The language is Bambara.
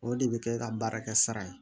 O de bɛ kɛ ka baarakɛ sara ye